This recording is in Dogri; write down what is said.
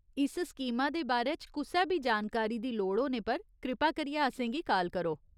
इस स्कीमा दे बारे च कुसै बी जानकारी दी लोड़ होने पर कृपा करियै असेंगी काल करो।